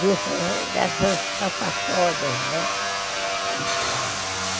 dessas escapatórias, entendeu?